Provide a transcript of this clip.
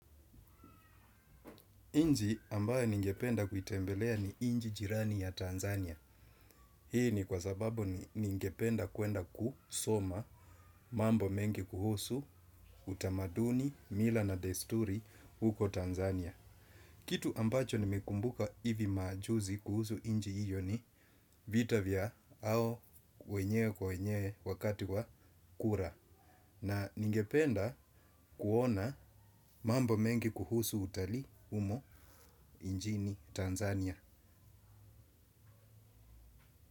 Nchi ambaye ningependa kuitembelea ni nchi jirani ya Tanzania. Hii ni kwa sababu ningependa kuenda kusoma mambo mengi kuhusu utamaduni, mila na desturi huko Tanzania. Kitu ambacho nimekumbuka hivi majuzi kuhusu nchi hiyo ni vita vya hao wenyewe kwa wenyewe wakati wa kura. Na ningependa kuona mambo mengi kuhusu utalii humo nchini Tanzania.